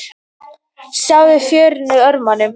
Sjáðu förin í örmunum.